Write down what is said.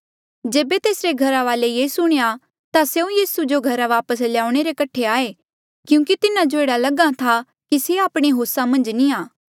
जेबे तेसरे घरा वाले ये सुणेया ता स्यों यीसू जो घरा वापस ल्याउणे रे कठे आये क्यूंकि तिन्हा जो एह्ड़ा लग्हा था कि से आपणे होसा मन्झ नी आ